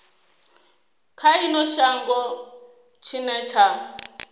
kha ino shango tshine tsha